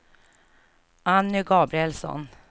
Anny Gabrielsson